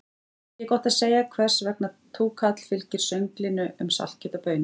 Ekki er gott að segja hvers vegna túkall fylgir sönglinu um saltkjöt og baunir.